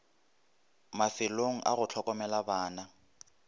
mafelo a go hlokomela bana